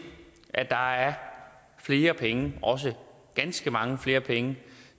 at der er flere penge og også ganske mange flere penge